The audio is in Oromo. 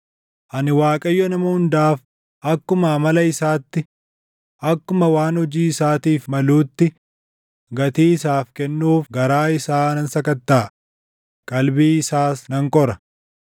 “Ani Waaqayyo nama hundaaf akkuma amala isaatti, akkuma waan hojii isaatiif maluutti gatii isaaf kennuuf garaa isaa nan sakattaʼa; qalbii isaas nan qora.”